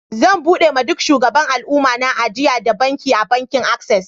Zan buɗe ma duk shugaban alumma na ajia da banki a bankin access.